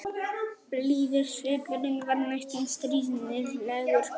Blíður svipurinn var næstum stríðnislegur.